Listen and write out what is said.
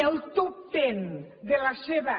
el top ten de la seva